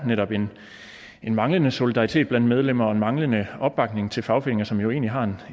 netop er en manglende solidaritet blandt medlemmer og en manglende opbakning til fagforeninger som jo egentlig har